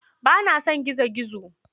Ba na son gizo-gizo.